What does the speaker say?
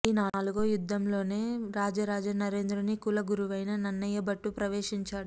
ఈ నాలుగో యుద్ధంలోనే రాజరాజ నరేంద్రుని కుల గురువైన నన్నయభట్టు ప్రవేశించాడు